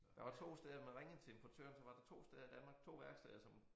Der 2 var steder man ringede til en portør så var der 2 steder i Danmark 2 værksteder som